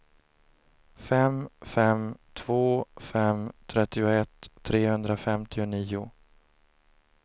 fem fem två fem trettioett trehundrafemtionio